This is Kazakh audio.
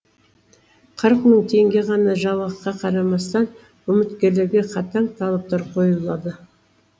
қырық мың теңге ғана жалақыға қарамастан үміткерлерге қатаң талаптар қойылады